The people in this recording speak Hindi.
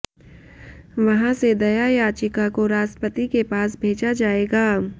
वहां से दया याचिका को राष्ट्रपति के पास भेजा जाएगा